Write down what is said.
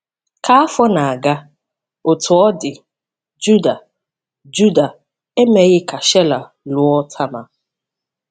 Ka afọ na-aga, Otú ọ dị, Juda Juda emeghị ka Shela lụọ Tama.